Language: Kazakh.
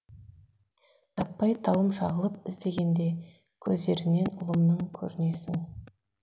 таппай тауым шағылып іздегенде көздерінен ұлымның көрінесің